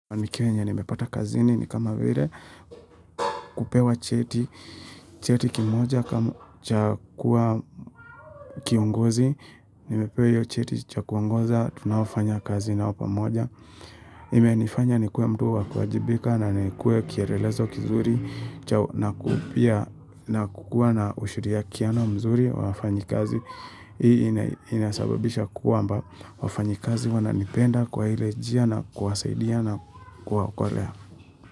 Nikiwenye nimepata kazini ni kama vile, kupewa cheti, cheti kimoja cha kuwa kiongozi, nimepewa hiyo cheti cha kuongoza tunaofanya kazi nao pamoja. Imenifanya nikuwe mtu wakuwaajibika na nikue kielelezo kizuri, chao na pia na kukua na ushurikiano mzuri wawafanyikazi. Hii inasababisha kwamba wafanyi kazi wananipenda kwa ile njia na kuwasaidia na kuwaokolea.